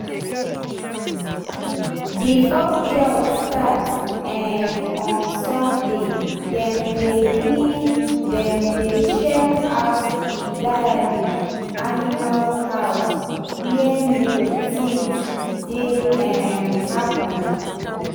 before church start um on sunday dem dey dem dey check out d dairy animal house where milk tins dey um happen.